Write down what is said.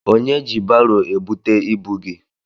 Onye ji baro ebute ibu gị?